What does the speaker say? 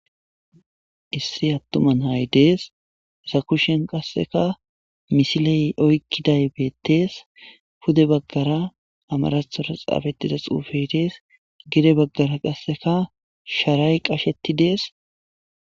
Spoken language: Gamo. issi attuman hay dees zakushen qasseka misiley oykkiday beettees pude baggara amaratora xaafetida xuufe dees gede baggara qasseka sharay qashetti dees